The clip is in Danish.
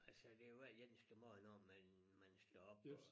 Altså det jo hver eneste morgen når man man står op og